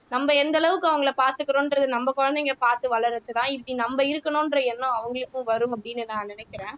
நம்ம எந்த அளவுக்கு அவங்களை பாத்துக்கறோம்ன்றது நம்ம குழந்தைங்க பாத்து வளர்றதுதான் இப்படி நம்ம இருக்கணுன்ற எண்ணம் அவங்களுக்கும் வரும் அப்படின்னு நான் நினைக்கிறேன்